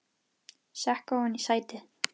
Sekk ofan í sætið.